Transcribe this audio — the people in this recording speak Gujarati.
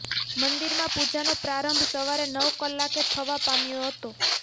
મંદિરમાં પૂજાનો પ્રારંભ સવારે નવ કલાકે થવા પામ્યો હતો